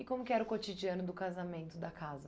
E como que era o cotidiano do casamento da casa?